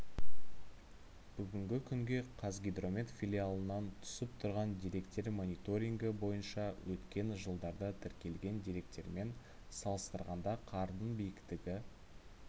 бүгінгі күнге қазгидромет филиалынан түсіп тұрған деректер мониторингі бойынша өткен жылдарда тіркелген деректермен салыстырғанда қардың биіктігі